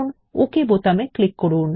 ওকে বোতামে ক্লিক করুন